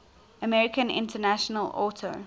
american international auto